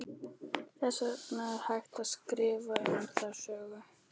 Þess vegna er hægt að skrifa um það sögur.